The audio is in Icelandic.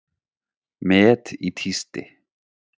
Met í tísti